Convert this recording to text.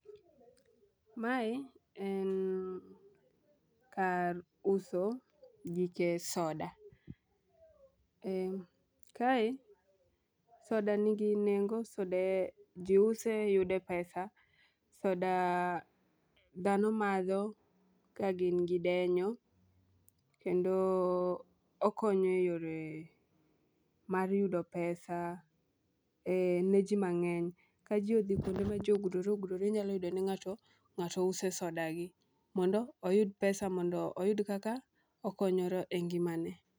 Mae en kar uso gike soda . Kae soda nigi nengo, soda jii use yude pesa . Soda dhano madho kagin gi denyo kendo okonyo e yore mar yudo pesa ne jii mang'eny. Ka jii odhi kuonde ma jii ogudore ogudore inyalo yudo ni ng'ato use soda gi mondo oyud pesa mondo oyud kaka okonyore e ngimane.